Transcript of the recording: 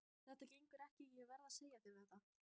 Þetta gengur ekki, ég verð að segja þér það.